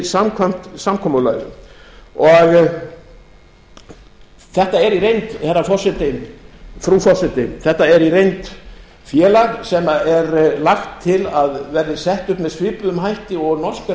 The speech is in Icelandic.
samkvæmt samkomulaginu þetta er í reynd frú forseti félag sem er lagt til að verði sett upp með svipuðum hætti og